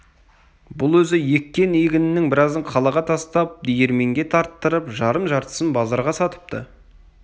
бұл өзі еккен егінінің біразын қалаға тастап диірменге тарттырып жарым-жартысын базарға сатыпты